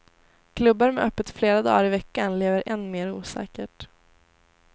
Klubbar med öppet flera dagar i veckan lever än mer osäkert.